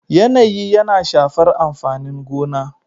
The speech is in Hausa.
yanayi yana shafar amfanin gona